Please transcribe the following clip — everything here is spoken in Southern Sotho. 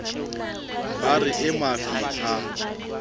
ba re e mafi ha